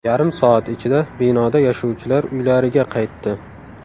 Yarim soat ichida binoda yashovchilar uylariga qaytdi.